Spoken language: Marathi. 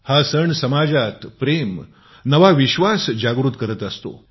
हा सण समाजात प्रेम नवा विश्वास जागृत करत असतो